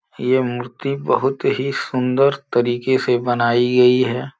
ये मूर्ति बहुत ही सुंदर तरीके से बनाई गई है।